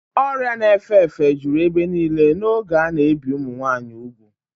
Ọrịa na-efe efe juru ebe niile n'oge a na-ebi ụmụ nwanyị ugwu.